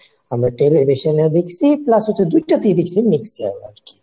আমরা television এ দেখছি plus হচ্ছে দুইটাতেই দেখছি mixer আর কি.